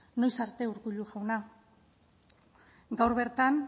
noiz arte urkullu jauna gaur bertan